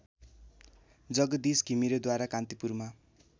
जगदीश घिमिरेद्वारा कान्तिपुरमा